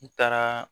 N taaraa